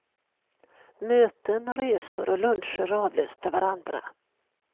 Möten, resor och luncher avlöste varandra.